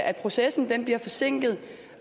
at processen bliver forsinket